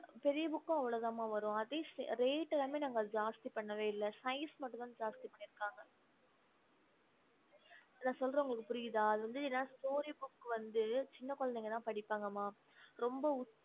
பெரிய book அவ்ளோதா ம வரும் நாங்க அதுவும் reat மத்தள Size மட்டுதா சின்ன குழாதிங்கள படிப்பாங்க ம மதியிருக்காங்க